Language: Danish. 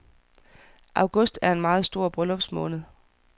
August er en meget stor bryllupsmåned.